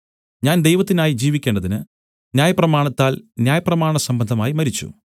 ഞാൻ ദൈവത്തിനായി ജീവിക്കേണ്ടതിന് ന്യായപ്രമാണത്താൽ ന്യായപ്രമാണസംബന്ധമായി മരിച്ചു